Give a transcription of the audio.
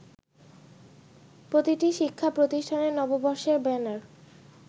প্রতিটি শিক্ষাপ্রতিষ্ঠানের নববর্ষের ব্যানার